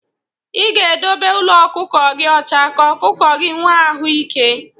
ị ga-edobe ụlọ ọkụkọ gị ọcha ka ọkụkọ gị nwee ahụ ịke.